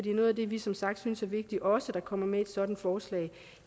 noget af det vi som sagt synes er vigtigt også kommer med i sådan et forslag